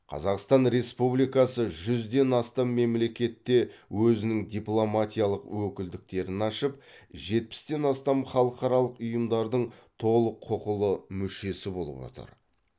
қазақстан республикасы жүзден астам мемлекетте өзінің дипломатиялық өкілдіктерін ашып жетпістен астам халықаралық ұйымдардың толық құқылы мүшесі болып отыр